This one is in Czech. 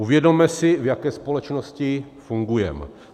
Uvědomme si, v jaké společnosti fungujeme.